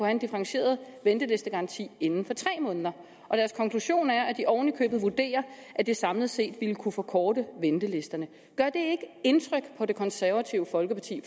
en differentieret ventelistegaranti inden for tre måneder og deres konklusion er at de oven i købet vurderer at det samlet set ville kunne forkorte ventelisterne gør det ikke indtryk på det konservative folkeparti